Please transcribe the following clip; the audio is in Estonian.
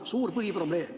See on suur põhiprobleem.